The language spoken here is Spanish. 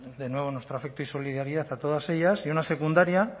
de nuevo todo nuestro afecto y solidaridad a todas ellas y una secundaria